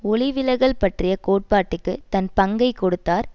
ஒளி விலகல் பற்றிய கோட்பாட்டுக்கு தன் பங்கை கொடுத்தார்